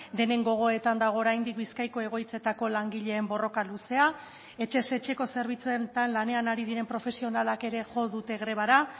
denen gogoetan dago oraindik bizkaiko egoitzetako langileen borroka luzea etxez etxeko zerbitzuetan lanean ari diren profesionalak ere jo dute grebara